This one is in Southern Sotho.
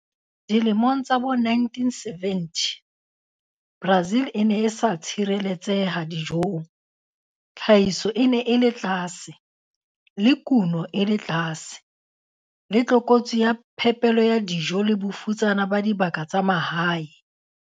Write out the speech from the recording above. Dilemong tsa bo1970, Brazil e ne e sa tshireletseha dijong, tlhahiso e ne e le tlase, le kuno e le tlase, le tlokotsi ya phepelo ya dijo le bofutsana ba dibaka tsa mahae.